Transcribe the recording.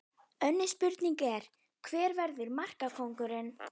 Önnur spurning er: Hver verður markakóngur?